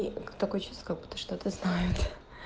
и такое чувство как будто что-то знает